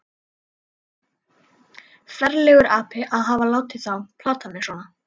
Ferlegur api að hafa látið þá plata mig svona.